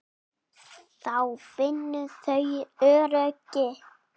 Þá finna þau öryggi.